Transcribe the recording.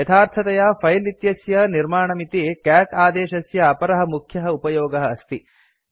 यथार्थतया फिले इत्यस्य निर्माणमिति कैट् आदेशस्य अपरः मुख्यः उपयोगः अस्ति